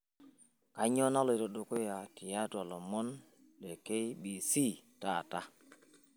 kainyio naloito dukuya tiatua ilomon le k.b.c taata